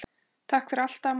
Takk fyrir allt, amma.